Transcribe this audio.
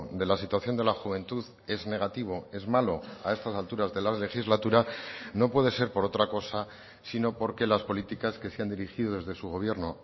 de la situación de la juventud es negativo es malo a estas alturas de la legislatura no puede ser por otra cosa sino porque las políticas que se han dirigido desde su gobierno